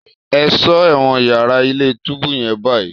Ẹ̀ṣọ́ ẹ̀wọ̀n yàrá ilé-túbú yẹn báyìí!